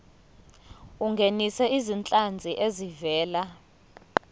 ungenise izinhlanzi ezivela